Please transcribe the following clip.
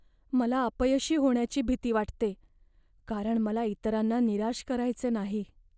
मला अपयशी होण्याची भीती वाटते कारण मला इतरांना निराश करायचे नाही.